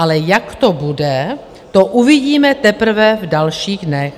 Ale jak to bude, to uvidíme teprve v dalších dnech.